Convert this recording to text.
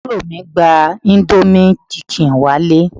Àbúrò mi gba indomie chicken wá ilé